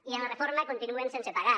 i amb la reforma continuen sense pagar